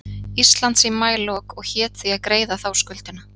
Íslands í maílok og hét því að greiða þá skuldina.